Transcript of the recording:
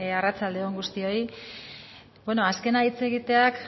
arratsalde on guztioi bueno azkena hitz egiteak